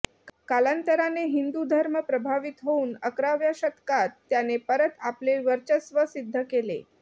कालांतराने हिंदू धर्म प्रभावित होऊन अकराव्या शतकात त्याने परत आपले वर्चस्व सिद्ध केले